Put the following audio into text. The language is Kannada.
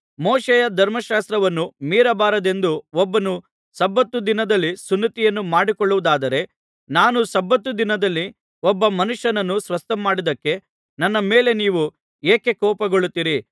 ಮೋಶೆಯ ಧರ್ಮಶಾಸ್ತ್ರವನ್ನು ಮೀರಬಾರದೆಂದು ಒಬ್ಬನು ಸಬ್ಬತ್ ದಿನದಲ್ಲಿ ಸುನ್ನತಿಯನ್ನು ಮಾಡಿಸಿಕೊಳ್ಳುವುದಾದರೆ ನಾನು ಸಬ್ಬತ್ ದಿನದಲ್ಲಿ ಒಬ್ಬ ಮನುಷ್ಯನನ್ನು ಸ್ವಸ್ಥಮಾಡಿದ್ದಕ್ಕೆ ನನ್ನ ಮೇಲೆ ನೀವು ಏಕೆ ಕೋಪಗೊಳ್ಳುತ್ತೀರಿ